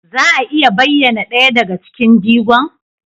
Za a iya bayyana ɗaya daga cikin jigon?